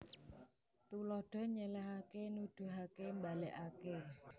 Tuladha nyèlèhaké nuduhaké mbalèkaké